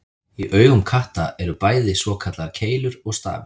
Í augum katta eru bæði svokallaðar keilur og stafir.